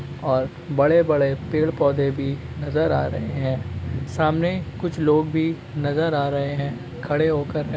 और बड़े-बड़े पेड़-पौधे भी नजर आ रहे हैं सामने कुछ लोग भी नजर आ रहे हैं खड़े होकर --